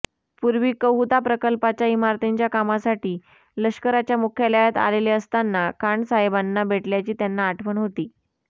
पूर्वी कहूता प्रकल्पाच्या इमारतींच्या कामासाठी लष्कराच्या मुख्यालयात आलेले असतांना खानसाहेबांना भेटल्याची त्याना आठवण होती